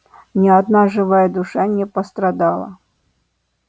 ни одна живая душа не пострадала